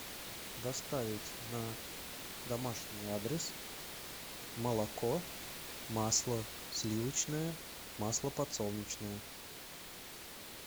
доставить на домашний адрес молоко масло сливочное масло подсолнечное